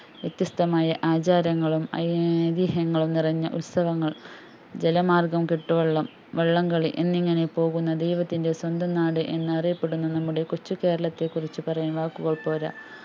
വ്യത്യസ്തമായ ആചാരങ്ങളും ഐതീഹ്യങ്ങളും നിറഞ്ഞ ഉത്സവങ്ങള്‍ ജലമാര്‍ഗം കെട്ടുവള്ളം വള്ളംകളി എന്നിങ്ങനെ പോകുന്ന ദൈവത്തിന്റെ സ്വന്തം നാട് എന്ന് അറിയപ്പെടുന്ന നമ്മുടെ കൊച്ചു കേരളത്തെ കുറിച്ച് പറയാൻ വാക്കുക്കൾ പോരാ